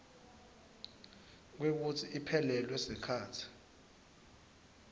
kwekutsi iphelelwe sikhatsi